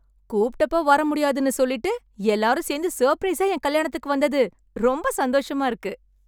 கூப்ட்டப்போ வரமுடியாதுன்னு சொல்லிட்டு, எல்லாரும் சேர்ந்து, சர்ப்ரைஸா என் கல்யாணத்துக்கு வந்தது ரொம்ம்ம்ப சந்தோஷமா இருக்கு...